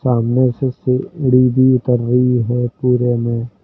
सामने से सी ढ़ी भी उतर रही है पूरे में।